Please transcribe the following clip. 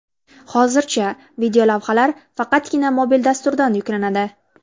Hozircha videolavhalar faqatgina mobil dasturdan yuklanadi.